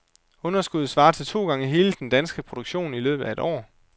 Underskuddet svarer til to gange hele den danske produktion i løbet af et år.